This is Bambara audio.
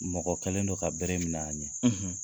Mɔgɔ kɛlen don ka bere minɛ a ɲɛ